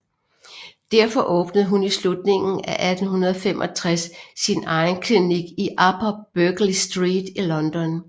Derfor åbnede hun i slutningen af 1865 sin egen klinik i Upper Berkeley Street i London